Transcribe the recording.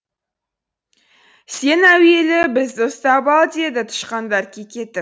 сен әуелі бізді ұстап ал деді тышқандар кекетіп